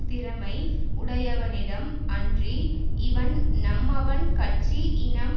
திறமை உடையவனிடம் அன்றி இவன் நம்மவன் கட்சி இனம்